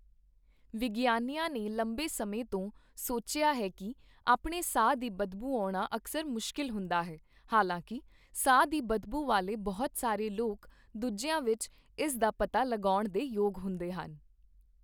ਵਿਗਿਆਨੀਆਂ ਨੇ ਲੰਬੇ ਸਮੇਂ ਤੋਂ ਸੋਚਿਆ ਹੈ ਕੀ ਆਪਣੇ ਸਾਹ ਦੀ ਬਦਬੂ ਆਉਣਾ ਅਕਸਰ ਮੁਸ਼ਕਿਲ ਹੁੰਦਾ ਹੈ, ਹਾਲਾਂਕਿ ਸਾਹ ਦੀ ਬਦਬੂ ਵਾਲੇ ਬਹੁਤ ਸਾਰੇ ਲੋਕ ਦੂਜਿਆਂ ਵਿੱਚ ਇਸ ਦਾ ਪਤਾ ਲਗਾਉਣ ਦੇ ਯੋਗ ਹੁੰਦੇ ਹਨ।